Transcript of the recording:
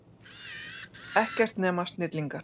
Ekkert nema snillingar.